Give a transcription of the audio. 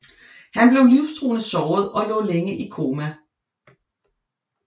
Han blev livstruende såret og lå længe i koma